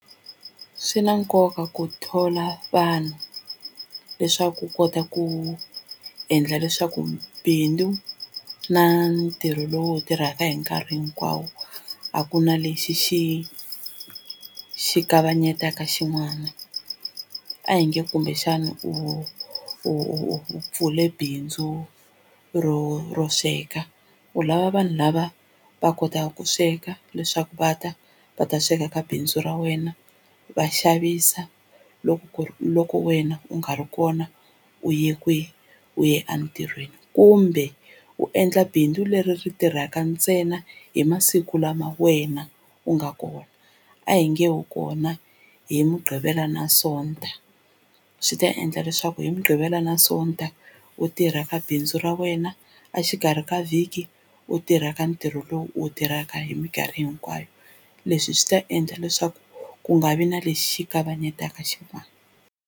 Swi na nkoka ku thola vanhu leswaku u kota ku endla leswaku bindzu na ntirho lowu u wu tirhaka hi nkarhi hinkwawo a ku na lexi xi xi kavanyetaka xin'wana a hi nge kumbexana u pfule bindzu ro ro sweka u lava vanhu lava va kotaka ku sweka leswaku va ta va ta sweka ka bindzu ra wena va xavisa loko ku ri loko wena u nga ri kona u ye kwihi u ye entirhweni kumbe u endla bindzu leri ri tirhaka ntsena hi masiku lama wena u nga kona a hi nge u kona hi mugqivela na sonto swi ta endla leswaku hi mugqivela na sonta u tirha ka bindzu ra wena a xikarhi ka vhiki u tirha ka ntirho lowu u wu tirhaka hi minkarhi hinkwayo leswi swi ta endla leswaku ku nga vi na lexi kavanyetaka xin'wani.